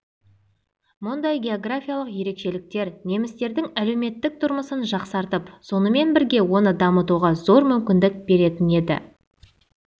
мұндай георгафиялық ерекшеліктер немістердің әлеуметтік тұрмысын жақсартып сонымен бірге оны дамытуға зор мүмкіндік беретін еді